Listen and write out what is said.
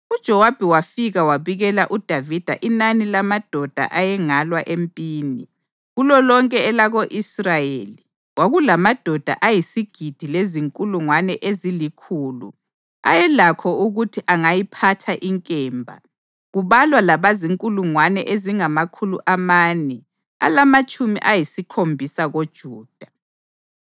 UJowabi wafika wabikela uDavida inani lamadoda ayengalwa empini: Kulolonke elako-Israyeli kwakulamadoda ayisigidi lezinkulungwane ezilikhulu ayelakho ukuthi angayiphatha inkemba, kubalwa labazinkulungwane ezingamakhulu amane alamatshumi ayisikhombisa koJuda.